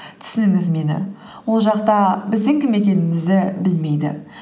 түсініңіз мені ол жақта біздің кім екенімізді білмейді